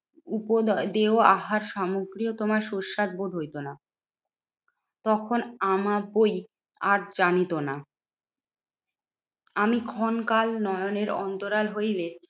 উপ দয় দেওয়া আহার সামগ্রীও তোমার সুস্বাদ বোধ হইতো না। তখন আমাবই আর জানিত না। আমি ক্ষণকাল নয়নের অন্তরাল হইলে